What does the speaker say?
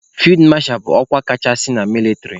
Fid masha bụ ọkwa kachasị na mịlịtrị.